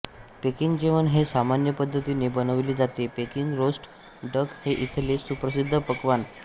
packing जेवण हे सामान्य पद्धतीने बनविले जाते पेकिंग रोस्ट डक हे इथले सुप्रसिद्ध पक्वान्न